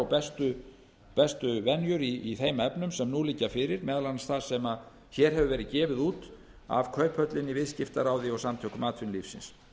bestu venjur í þeim efnum sem nú liggja fyrir meðal annars það sem hér hefur verið gefið út af kauphöllinni viðskiptaráði ég samtökum atvinnulífsins